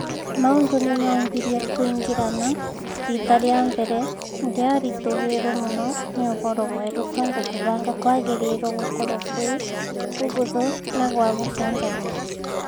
Maũndũ nĩmambirie kũingĩrana, rita rĩa mbere, ndiaritũhĩirwo muno nĩ ũhoro mwerũ tondũ kũbanga kwagĩrĩirwo gũkorwo gwĩ kũhũthũ na gwa gũchanjamũra